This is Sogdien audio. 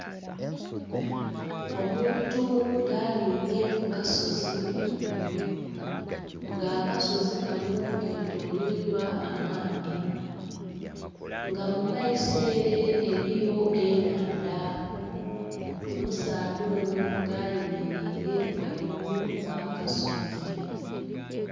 Omuntu nga aninhye ku kasozi ghaigulu nga akasozi kano ketolweirwa amaadhi nga mu maiso ere eriyo enhandha, omusaadha ono nga ayemereire ghaigulu gha akasozi.